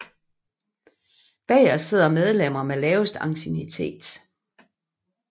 Bagest sidder medlemmer med lavest anciennitet